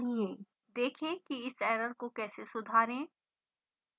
देखें कि इस error को कैसे सुधारें